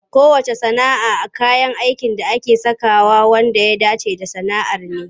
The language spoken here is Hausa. Kowacce sana'a kayan aikin da ake sakawa wanda ya dace da sana'ar ne.